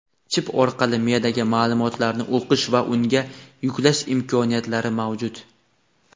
chip orqali miyadagi ma’lumotlarni o‘qish va unga yuklash imkoniyatlari mavjud.